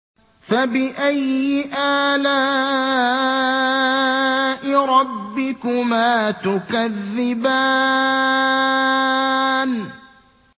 فَبِأَيِّ آلَاءِ رَبِّكُمَا تُكَذِّبَانِ